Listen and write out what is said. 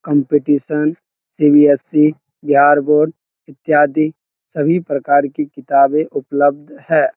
Competition CBSE. Bihar board इत्यादि सभी प्रकार की किताबें उपलब्ध हैं ।